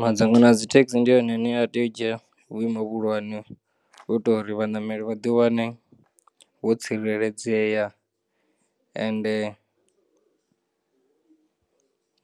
Madzangano a dzithekisi ndi one ane ateya u dzhiya vhuimo vhuhulwane u itela uri vhanameli vha ḓi wane vho tsireledzea, ende